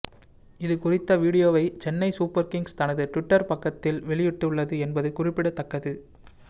இது குறித்த வீடியோவை சென்னை சூப்பர் கிங்ஸ் தனது டுவிட்டர் பக்கத்தில் வெளியிட்டுள்ளது என்பது குறிப்பிடத்தக்கது